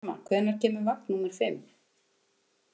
Bjarma, hvenær kemur vagn númer fimm?